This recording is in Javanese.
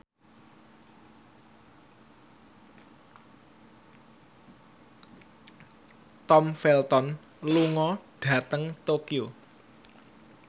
Tom Felton lunga dhateng Tokyo